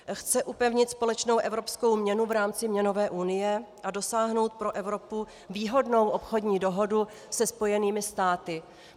Chce upevnit společnou evropskou měnu v rámci měnové unie a dosáhnout pro Evropu výhodnou obchodní dohodu se Spojenými státy.